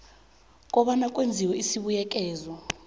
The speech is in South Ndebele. kobana kwenziwe isibuyekezo